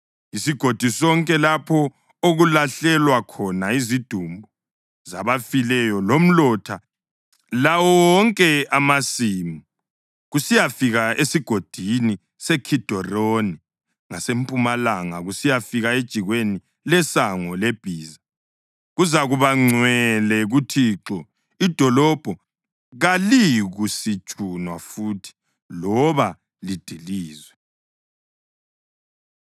Isigodi sonke lapho okulahlelwa khona izidumbu zabafileyo lomlotha, lawo wonke amasimu kusiyafika esigodini seKhidironi ngasempumalanga kusiyafika ejikweni leSango leBhiza, kuzakuba ngcwele kuThixo. Idolobho kaliyikusitshunwa futhi loba lidilizwe.”